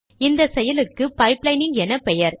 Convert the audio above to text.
இந்த செயலுக்கு பைப்லைனிங் எனப்பெயர்